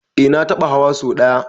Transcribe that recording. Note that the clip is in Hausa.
Eh na taɓa hawa so ɗaya.